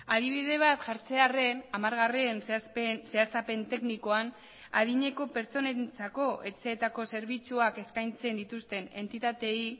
adibide bat jartzearren hamargarren zehaztapen teknikoan adineko pertsonentzako etxeetako zerbitzuak eskaintzen dituzten entitateei